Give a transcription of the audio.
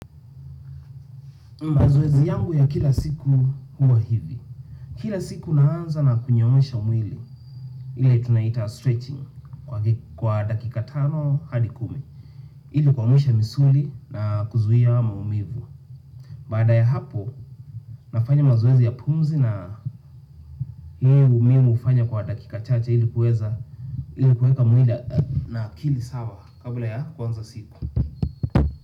Mazoezi yangu ya kila siku huwa hivi. Kila siku naanza na kunyoosha mwili ile tunaita stretching kwa dakika tano hadi kumi. Ivyo kuamusha misuli na kuzuhia maumivu. Baada ya hapo nafanya mazoezi ya pumzi na hii mimi hufanya kwa dakika chache ili kuweka mwila na akili sawa kabula ya kuanza siku.